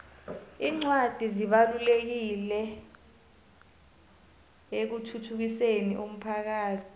incwadi zibalulekile ekuthuthukiseni umphakhathi